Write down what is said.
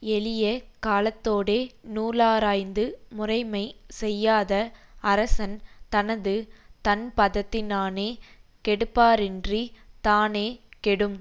எளிய காலத்தோடே நூலாராய்ந்து முறைமை செய்யாத அரசன் தனது தண்பதத்தினானே கெடுப்பாரின்றித் தானே கெடும்